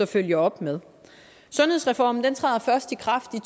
følger op med sundhedsreformen træder først i kraft i